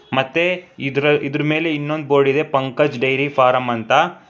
ಮತ್ತೆ ಇದರಲ್ ಇದ್ರ ಮೇಲೆ ಇನ್ನೊಂದು ಇನ್ನೊಂದು ಬೋರ್ಡ್ ಇದೆ ಪಂಕಜ್ ಡೈರಿ ಫಾರಂ ಅಂತ.